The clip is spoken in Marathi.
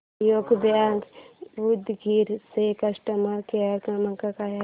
सहयोग बँक उदगीर चा कस्टमर केअर क्रमांक काय आहे